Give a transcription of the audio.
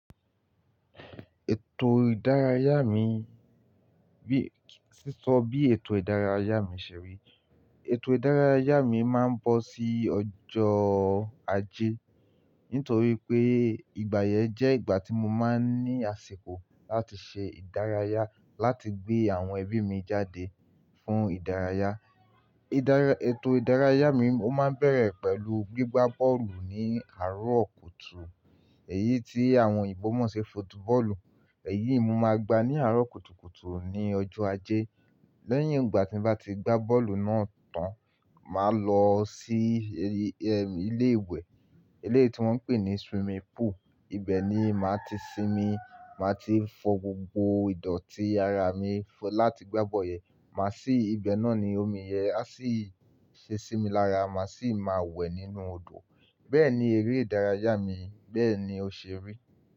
Ètò ìdárayá mi bí-- sísọ bí ètò ìdárayá mi ṣe rí. Ètò ìdárayá mi máa ń bọ sí ọjọ́ ajé nítorí pé ìgbà yẹn jẹ́ ìgbà tí mo máa ń ní àsìkò láti ṣe ìdárayá, láti gbé àwọn ẹbí mi jáde fún ìdárayá. Ìdárayá-- ètò ìdárayá mi ó máa ń bẹ̀rẹ̀ pẹ̀lú gbígbá bọ́ọ̀lù ní àárọ̀ kùtù. Èyí tí àwọn oyinbo mọ̀ ṣi football, èyí mo máa gbá ní àárọ̀ kùtù kùtù ní ọjọ́ ajé. Lẹ́yìn ìgbà tí m'bá ti gbá bọ́ọ̀lù náà tán, màá lọ sí ilé ìwẹ̀, Eleyií wọ́n ń pè ní swimming pool. Ibẹ̀ ni màá ti sinmi, màá ti fọ gbogbo ìdọ̀tí ara mi láti gbá bọ́yẹ̀. Màá sì, ibẹ̀ náà ni omi yẹ á sì ṣe sinmi lára, màá sì máa wẹ̀ nínú odò. Bẹ́ẹ̀ni eré ìdárayá mi, bẹ́ẹ̀ni ó ṣe rí.